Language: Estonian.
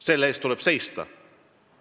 Selle eest tuleb seista.